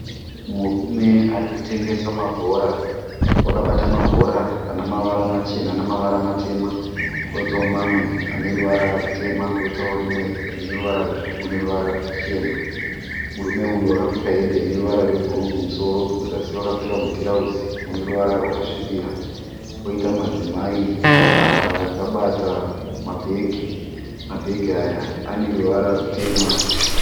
Murume arikutengesa mabhora akabata, mabhora enemavara machena nemavara matema koitawo mamwe aneruvara rutema koitawo rimwe rineruvara rutsvuku neruvara ruchena. Murume uyu akapfeka hembe ineruvara rwebhuru kumusoro kuzasi akapfeka rutirauzi runeruvara rwakasvibira. Koita madzimai akabata mabhegi, mabhegi aya aneruvara rutema.